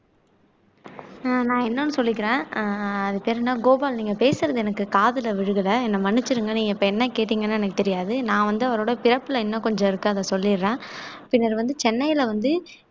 அஹ் நான் இன்னொன்னு சொல்லிக்கிறேன் அஹ் அது தெரியலேன்னா கோபால் நீங்க பேசறது எனக்கு காதுல விழுகல என்னை மன்னிச்சிடுங்கன்னா நீங்க என்னைக் கேட்டீங்கன்னா எனக்குத் தெரியாது நான் வந்து அவரோட பிறப்புல இன்னும் கொஞ்சம் இருக்கு அத சொல்லிடறேன் பின்னர் வந்து சென்னையில வந்து